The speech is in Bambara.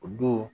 O don